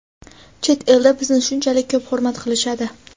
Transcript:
chet elda bizni shunchalik ko‘p hurmat qilishadi.